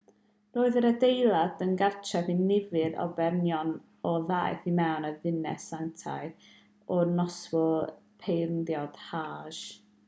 roedd yr adeilad yn gartref i nifer o bererinion a ddaeth i ymweld â'r ddinas sanctaidd ar noswyl pererindod hajj